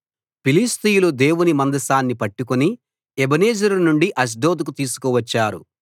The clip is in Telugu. ఫిలిష్తీయులు దేవుని మందసాన్ని పట్టుకుని ఎబెనెజరు నుండి అష్డోదుకు తీసుకువచ్చారు